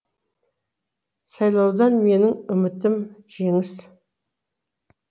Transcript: сайлаудан менің үмітім жеңіс